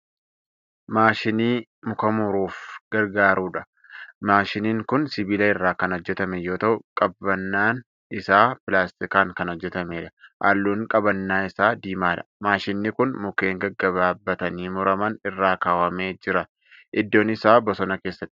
Maashinii muka muruuf gargaarudha. Maashiniin kun sibiila irraa kan hojjatame yoo ta'u, qabannaan isaa pilaastikaan kan hojjatameedha. Halluun qabannaa isaa diimaadha. Maashinnin kun mukkeen gaggabaabbatanii muraman irra kaawwamee jira. Iddoon isaa bosona keessadha.